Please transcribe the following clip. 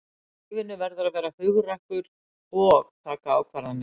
Í lífinu verðurðu að vera hugrakkur og taka ákvarðanir.